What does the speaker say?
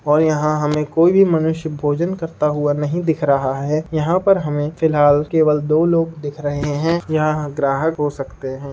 और यहाँ हमें कोई भी मनुष्य भोजन करता हुआ नहीं दिख रहा है। यहाँ पर हमें फ़िलहाल केवल दो लोग दिख रहे हैं। यह ग्राहक हो सकते हैं।